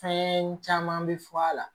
Fɛn caman bɛ fɔ a la